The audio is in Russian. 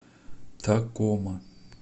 такома